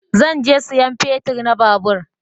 Zan je sayan fetir na babur